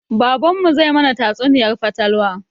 Baban mu zai mana tatsuniyar fatalwa